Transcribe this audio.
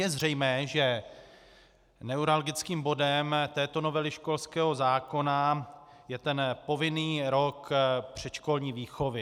Je zřejmé, že neuralgickým bodem této novely školského zákona je ten povinný rok předškolní výchovy.